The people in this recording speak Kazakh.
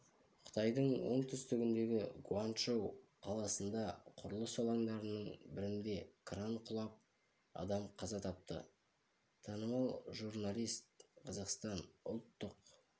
қытайдың оңтүстігіндегі гуанчжоу қаласында құрылыс алаңдарының бірінде кран құлап адам қаза тапты танымал журналист қазақстан ұлттық